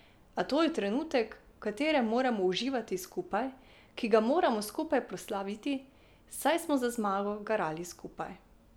A to je trenutek, v katerem moramo uživati skupaj, ki ga moramo skupaj proslaviti, saj smo za zmago garali skupaj.